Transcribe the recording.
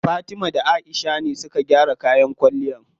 Fatima da Aisha ne suka gyara kayan kwalliyan.